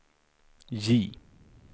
J